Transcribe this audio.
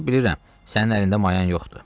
Mən bilirəm sənin əlində mayan yoxdur.